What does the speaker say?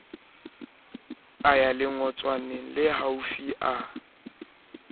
a ya lengotswaneng lehaufi a